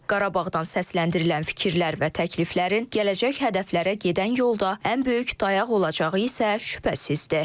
Qarabağdan səsləndirilən fikirlər və təkliflərin gələcək hədəflərə gedən yolda ən böyük dayaq olacağı isə şübhəsizdir.